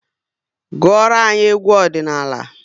Gụọra anyị egwu ọdịnala!